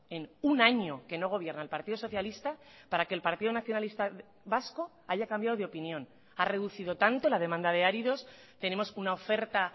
en un año que no gobierna el partido socialista para que el partido nacionalista vasco haya cambiado de opinión ha reducido tanto la demanda de áridos tenemos una oferta